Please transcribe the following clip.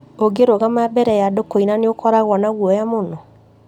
ũngĩrũgama mbere ya andũ kũina nĩũkoragwo na guoya mũno